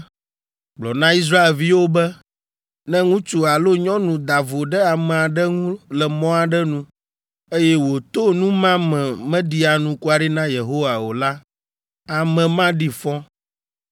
“Gblɔ na Israelviwo be: ‘Ne ŋutsu alo nyɔnu da vo ɖe ame aɖe ŋu le mɔ aɖe nu eye wòto nu ma me meɖi anukware na Yehowa o la, ame ma ɖi fɔ.